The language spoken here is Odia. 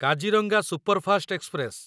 Kaziranga superfast express